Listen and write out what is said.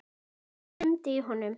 Það rumdi í honum.